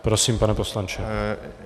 Prosím, pane poslanče.